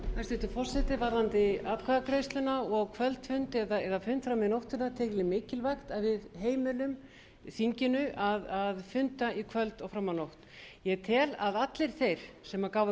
hæstvirtur forseti varðandi atkvæðagreiðsluna og kvöldfund eða fund fram í nóttina tel ég mikilvægt að við heimilum þinginu að funda í kvöld og fram á nótt ég tel að allir þeir sem gáfu